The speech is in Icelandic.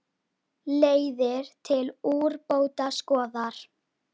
Leiðir til úrbóta skoðar.